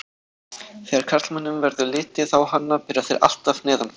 Þegar karlmönnum verður litið á hana byrja þeir alltaf neðan frá.